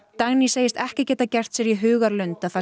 Dagný segist ekki geta gert sér í hugarlund að það